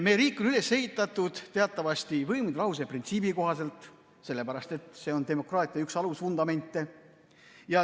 Meie riik on üles ehitatud teatavasti võimude lahususe printsiibil, sellepärast et see on demokraatia üks alusvundamente.